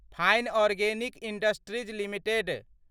fine organic industries limited